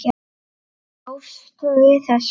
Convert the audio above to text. Bjóstu við þessu?